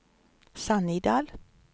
Sannidal